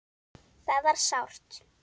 Það var sárt.